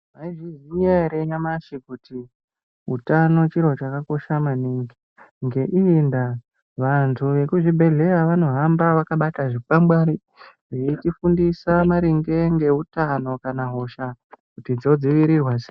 Maizviziva here zvamashi kuti utano chiro chakakosha maningi ngeiyi ndaa vandu vemuzvibhedhlera vanohamba vakabata zvikwangwari vechifundisa maringe ngehutano kana kuti hosha dzinodzivirirwa sei.